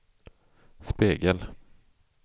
spegel